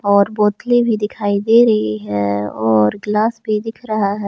और बोतलें भी दिखाई दे रही है और ग्लास भी दिख रहा है।